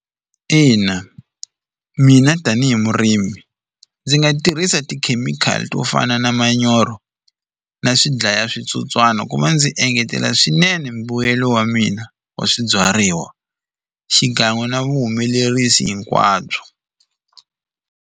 Ina mina tanihi murimi ndzi nga tirhisa tikhemikhali to fana na manyoro na swidlaya switsotswana ku va ndzi engetela swinene mbuyelo wa mina wa swibyariwa xikan'we na vuhumelerisi hinkwabyo.